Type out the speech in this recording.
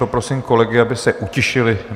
Poprosím kolegy, aby se utišili.